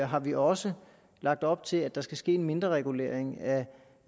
har vi også lagt op til at der skal ske en mindreregulering af